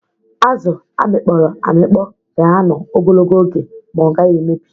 Azụ a mịkpọrọ amịkpọ na-anọ ogologo oge ma ọ gaghị emebi.